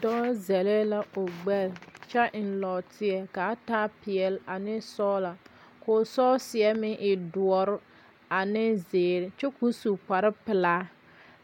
dɔɔ zɛle la o gbɛre kyɛ eŋ nɔɔteɛ ka a t peɛle ane sɔgelɔ ka o sɔɔseɛmeŋe doɔre ane zeere kyɛ ka o su kpare pelaa.